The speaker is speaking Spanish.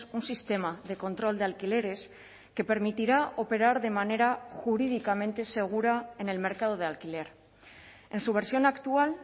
un sistema de control de alquileres que permitirá operar de manera jurídicamente segura en el mercado de alquiler en su versión actual